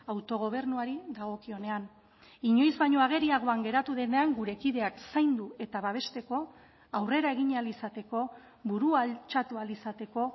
autogobernuari dagokionean inoiz baino ageriagoan geratu denean gure kideak zaindu eta babesteko aurrera egin ahal izateko burua altxatu ahal izateko